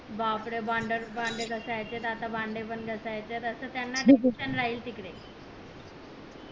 बापरे भांडे घासायचे आता भांडे पण घासायचेत असं त्याना tension राहील तिकडे